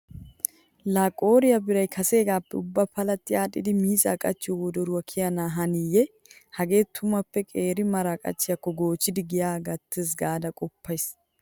Laa qooriya biray kaseegaappe ubba palatti aaxxidi miizza qachchiyo wodoro kiyana haniiyye. Hagee tumuppe qeeri mara qachchiyaakko goochchidi giyaa gattees gaada qoppays.